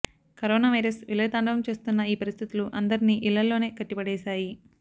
corona virus విలయతాండవం చేస్తున్న ఈ పరిస్థితులు అందరినీ ఇళ్లలోనే కట్టిపడేశాయి